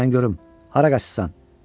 Dayan görüm, hara qaçırsan?